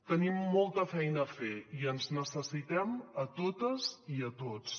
tenim molta feina a fer i ens necessitem a totes i a tots